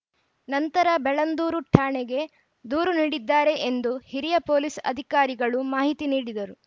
ನಂತರ ಬೆಳ್ಳಂದೂರು ಠಾಣೆಗೆ ದೂರು ನೀಡಿದ್ದಾರೆ ಎಂದು ಹಿರಿಯ ಪೊಲೀಸ್‌ ಅಧಿಕಾರಿಗಳು ಮಾಹಿತಿ ನೀಡಿದರು